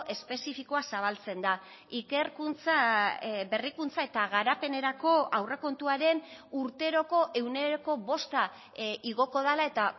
espezifikoa zabaltzen da ikerkuntza berrikuntza eta garapenerako aurrekontuaren urteroko ehuneko bosta igoko dela eta